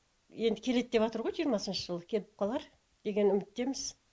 енді келеді деватр ғой жиырмасыншы жылы келіп қалар деген үміттеміз